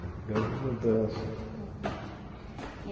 Uma grande mudança. Uhum e